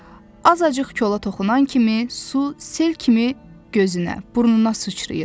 azacıq kola toxunan kimi su sel kimi gözünə, burnuna sıçrayırdı.